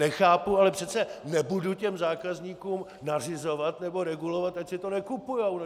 Nechápu, ale přece nebudu těm zákazníkům nařizovat nebo regulovat, ať si to nekupujou!